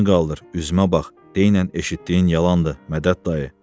Başını qaldır, üzümə bax, deynən eşitdiyin yalandır, Mədəd dayı.